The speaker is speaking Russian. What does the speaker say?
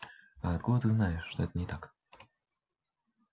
а откуда ты знаешь что это не так